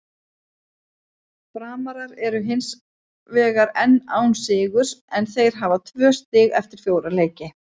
Framarar eru hinsvegar enn án sigurs en þeir hafa tvö stig eftir fjóra leiki.